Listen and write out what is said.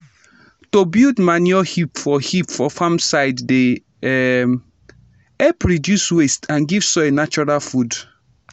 to build manure heap for heap for farm side dey um help reduce waste and give soil natural food.